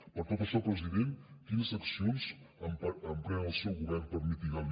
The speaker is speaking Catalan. per tot això president quines accions emprèn el seu govern per mitigar